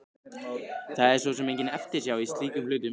Það er svo sem engin eftirsjá í slíkum hlutum.